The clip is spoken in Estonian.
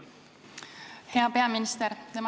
Hea peaminister!